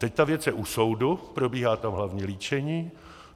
Teď ta věc je u soudu, probíhá tam hlavní líčení.